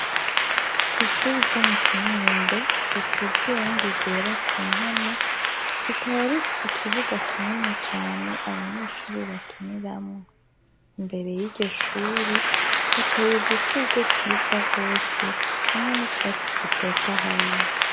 Ishure ryo mu Kinindo risize irangi ryera ku mpome rikaba rifise ikibuga kinini cane abanyeshure bakiniramwo. Imbere y'iryo shure hateye udushurwe twiza rwose hamwe n'utwatsi tutotahaye.